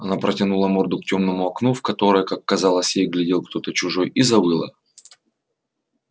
она протянула морду к тёмному окну в которое как казалось ей глядел кто-то чужой и завыла